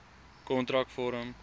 kontrakvorm